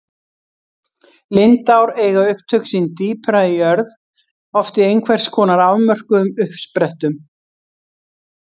Lindár eiga upptök sín dýpra í jörð, oft í einhvers konar afmörkuðum uppsprettum.